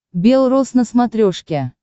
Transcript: белрос на смотрешке